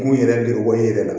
Kun yɛrɛ do bɔ i yɛrɛ la